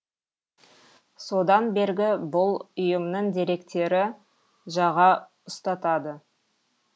содан бергі бұл ұйымның деректері жаға ұстатады